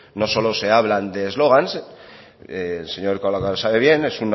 no solo se hablan de eslóganes el señor erkoreka lo sabe bien